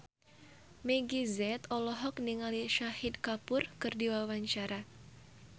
Meggie Z olohok ningali Shahid Kapoor keur diwawancara